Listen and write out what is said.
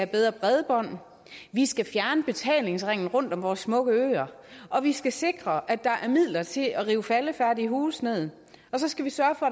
bedre bredbånd vi skal fjerne betalingsringen rundt om vores smukke øer vi skal sikre at der er midler til at rive faldefærdige huse ned og så skal vi sørge for